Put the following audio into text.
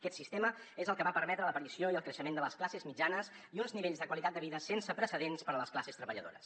aquest sistema és el que va permetre l’aparició i el creixement de les classes mitjanes i uns nivells de qualitat de vida sense precedents per a les classes treballadores